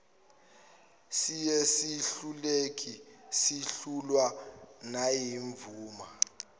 siyizehluleki sehlulwa nayimvuma